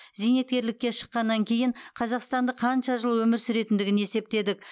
зейнеткерлікке шыққаннан кейін қазақстандық қанша жыл өмір сүретіндігін есептедік